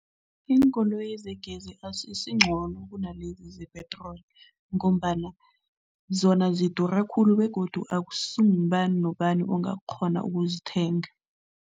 Iinkoloyi zegezi azisingcono kunalezi ze-petrol ngombana zona zidura khulu begodu akusingubani nobani ongakghona ukuzithenga.